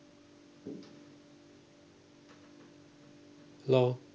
hello